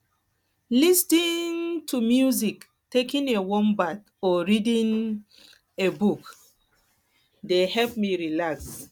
lis ten ing um to um music taking a warm bath or reading um a book dey help me relax